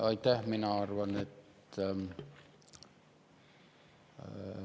Aitäh!